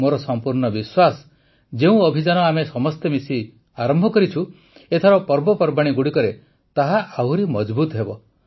ମୋର ସମ୍ପୂର୍ଣ୍ଣ ବିଶ୍ୱାସ ଯେ ଯେଉଁ ଅଭିଯାନ ଆମେ ସମସ୍ତେ ମିଶି ଆରମ୍ଭ କରିଛୁ ଏଥର ପର୍ବପର୍ବାଣୀଗୁଡ଼ିକରେ ତାହା ଆହୁରି ମଜଭୁତ ହେବ